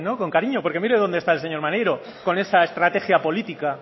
con cariño porque mire dónde está el señor maneiro con esa estrategia política